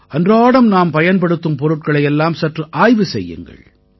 அன்றாடம் நாம் பயன்படுத்தும் பொருள்களை எல்லாம் சற்று ஆய்வு செய்யுங்கள்